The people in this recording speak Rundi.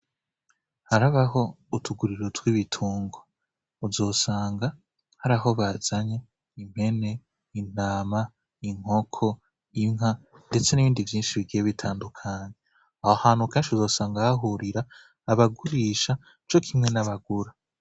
Harabaho utuguriro tw'ibitugwa, uzosanga hari aho bazanye: impene, intama, inkoko, inka, ndetse n'ibindi vyinshi bigiye bitandukanye. Aho hantu kenshi uzosanga hahurira abagurisha co kimwe n'abagura.